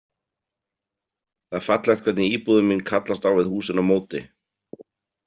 Það er fallegt hvernig íbúðin mín kallast á við húsin á móti.